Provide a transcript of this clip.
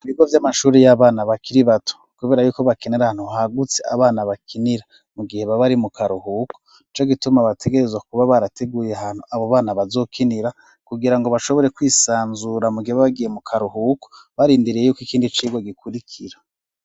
Ibigo vy'amashuri y'abana bakiri bato kubera yuko bakenera ahantu hagutse abana bakinira mu gihe babari mu karuhuko ico gituma bategerezo kuba barateguye ahantu abo bana bazokinira kugira ngo bashobore kwisanzura mu gihe bagiye mu karuhuko barindiriye yuko ikindi cirwo gikurikira.